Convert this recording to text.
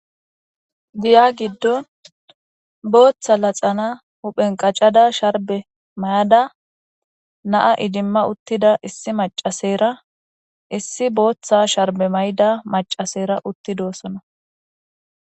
Giya gidon Botha laxana huphen qacada sharbe mayada na'a idima utida issi macasera issi Botha sharbe mayada macasera utti dosona.